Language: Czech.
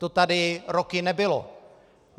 To tady roky nebylo.